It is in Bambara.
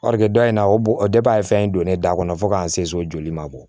dɔ in na o de ye fɛn in don ne da kɔnɔ fo k'an se so joli ma bɔ